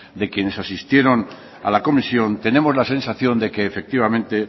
de quienes asistieron a la comisión tenemos la sensación de que efectivamente